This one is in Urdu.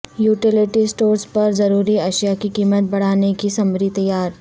یوٹیلیٹی اسٹورز پر ضروری اشیاء کی قیمت بڑھانے کی سمری تیار